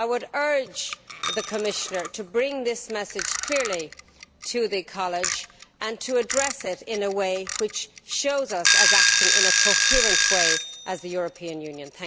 I would urge the Commissioner to bring this message clearly to the College and to address it in a way that shows us as acting in a coherent way, as the European Union.